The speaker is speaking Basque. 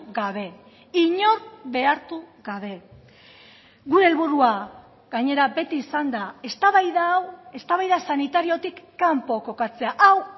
gabe inor behartu gabe gure helburua gainera beti izan da eztabaida hau eztabaida sanitariotik kanpo kokatzea hau